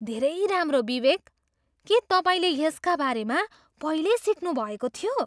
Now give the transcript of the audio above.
धेरै राम्रो विवेक! के तपाईँले यसका बारेमा पहिल्यै सिक्नुभएको थियो?